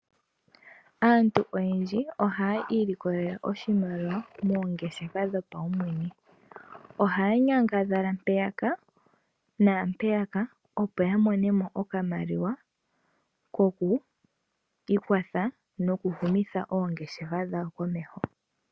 Aantu oyendji ohaya ilikolele oshimaliwa moongeshefa dhopaumwene. Ohaya nyangadhala mpaka naampeyaka opo yamonemo oshimaliwa shoku ikwatha nokuhumitha oongeshefa dhawo komeho.